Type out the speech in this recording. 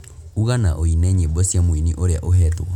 uga na ūine nyīmbo cia mūini ūrīa ūhetwo